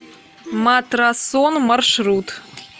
матрасон маршрут